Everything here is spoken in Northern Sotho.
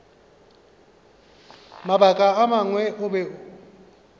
mabaka a mangwe o be